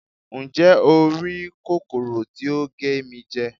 njé o ri kòkòrò tí o ge mi jẹ